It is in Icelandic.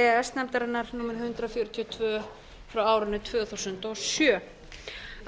s nefndarinnar númer hundrað fjörutíu og tvö tvö þúsund og sjö